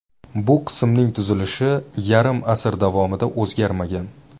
Bu qismning tuzilishi yarim asr davomida o‘zgarmagan.